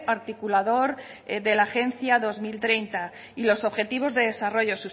articulador de la agencia dos mil treinta y los objetivos de desarrollo